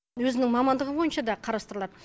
өзінің мамандығы бойынша да қарастырылады